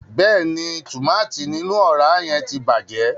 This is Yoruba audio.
Bẹẹni, tùmátìn ninu ọra yẹn ti bàjẹ́.